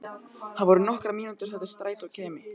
Það voru nokkrar mínútur þar til strætó kæmi.